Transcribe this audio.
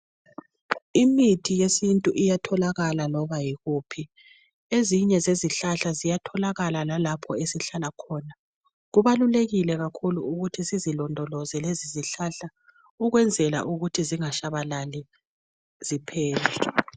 Imithi yesintu iyatholakala loba yikuphi ezinye zezihlahla ziyatholakala lapho esihlala khona kubalulekile ukuthi sizilondoloze lezizihlahla ukwenzela ukuthi zingashabalali ziphele